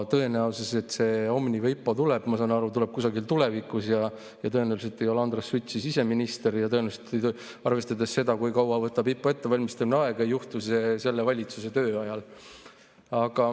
Tõenäoliselt Omniva IPO tuleb – ma saan aru, et see tuleb kusagil tulevikus – ja tõenäoliselt ei ole Andres Sutt siis enam ise minister ja tõenäoliselt, arvestades seda, kui kaua võtab IPO ettevalmistamine aega, ei juhtu see praeguse valitsuse ajal.